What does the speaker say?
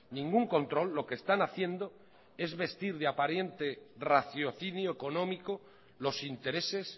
ningún control lo que están haciendo es vestir de aparente raciocinio económico los intereses